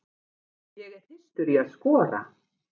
Ég er þyrstur í að skora.